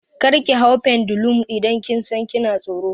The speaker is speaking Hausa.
Kar ki hau pendulum idan kin san kina tsoro!